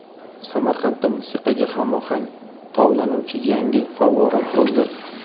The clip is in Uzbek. Samarqandda musiqaga hamohang tovlanuvchi yangi favvora qurildi.